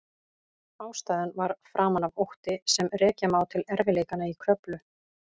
Ástæðan var framan af ótti sem rekja má til erfiðleikanna í Kröflu.